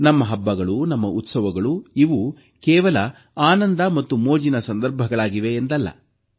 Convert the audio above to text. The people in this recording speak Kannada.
ನಮ್ಮ ಹಬ್ಬಗಳು ನಮ್ಮ ಉತ್ಸವಗಳು ಇವು ಕೇವಲ ಆನಂದ ಮತ್ತು ಮೋಜಿನ ಸಂದರ್ಭಗಳಾಗಿವೆ ಎಂದಲ್ಲ